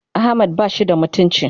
Ahmad bashi da mutunci.